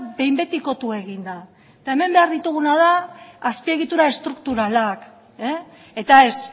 behin betikotu egin da eta hemen behar dituguna da azpiegitura estrukturalak eta ez